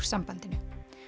sambandinu